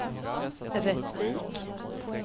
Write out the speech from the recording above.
Rättvik